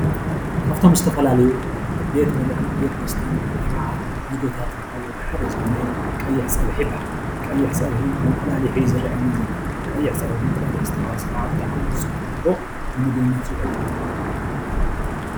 ካብቶም ዝተፈላለዩ ቤት ብልዕን ቤት መስተን ወይ ከዓ ሓደ ዝኮነ ቀይሕ ፀብሒ ይበሃል። ቀይሕ ፀብሒ እቁላሊሕ እዩ ዝረኣየና ዘሎ ።ቀይሕ ፀብሒ እንቁላሊሕ ዝተሓወሶ ከዓ ብጣዕሚ ፅቡቅ ንምግብነት ዝውዕል እዩ።